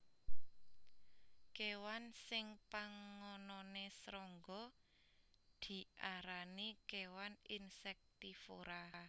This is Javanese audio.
Kéwan sing pangononé srangga diarani kéwan insektivora